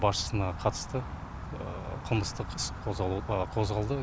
басшысына қатысты қылмыстық іс қозғалды